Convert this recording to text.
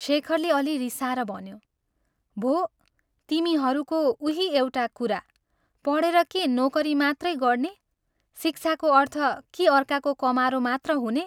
शेखरले अल्लि रिसाएर भन्यो, "भो, तिमीहरूको उही एउटा कुरा पढेर के नोकरी मात्रै गर्ने शिक्षाको अर्थ के अर्काको कमारो मात्र हुने?